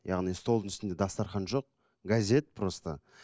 яғни столдың үстінде дастарған жоқ газет просто